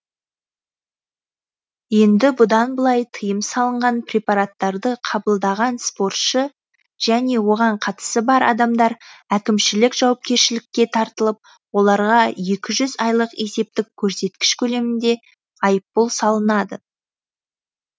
енді бұдан былай тыйым салынған препараттарды қабылдаған спортшы және оған қатысы бар адамдар әкімшілік жауапкершілікке тартылып оларға екі жүз айлық есептік көрсеткіш көлемінде айыппұл салынады